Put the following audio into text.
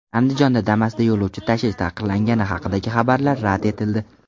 Andijonda Damas’da yo‘lovchi tashish taqiqlangani haqidagi xabarlar rad etildi .